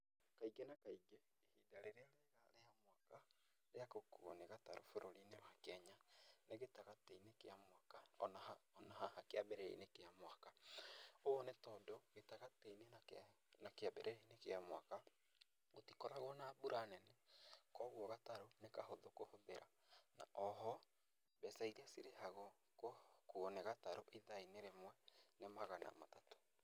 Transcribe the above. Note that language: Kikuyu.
Kaingĩ na kaingĩ, ihinda rĩrĩa rĩa mwaka rĩa gũkuo nĩ gatarũ bũrũri-inĩ wa Kenya, nĩ gĩtagatĩ-inĩ kĩa mwaka o na haha kĩambĩrĩria-inĩ kĩa mwaka, ũũ nĩ tondũ gĩtagatĩ-inĩ na kĩambĩrĩria-inĩ kĩa mwaka, gũtikoragwo na mbura nene, koguo gatarũ nĩ kahũthũ kũhũthĩra na o ho mbeca iria cirĩhagwo gũkuo nĩ gatarũ ithaa-inĩ rĩmwe nĩ magana matatũ.